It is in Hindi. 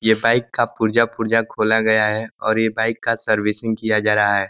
यह बाइक का पुर्जा पुर्जा खोला गया है और यह बाइक का सर्विसिंग किया जा रहा है।